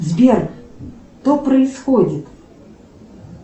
сбер что происходит